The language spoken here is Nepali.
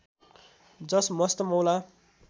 जस मस्त मौला